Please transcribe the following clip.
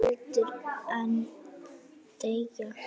svo heldur en þegja